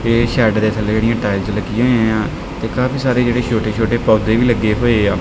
ਇਹ ਸ਼ੈੱਡ ਦੇ ਥੱਲੇ ਜੇਹੜੀਆਂ ਟਾਈਲਸ ਲੱਗਿਆ ਹੋਇਆ ਯਾਂ ਤੇ ਕਾਫੀ ਸਾਰੇ ਜੇਹੜੇ ਛੋਟੇ ਛੋਟੇ ਪੌਧੇ ਵੀ ਲੱਗੇ ਹੋਏਆ।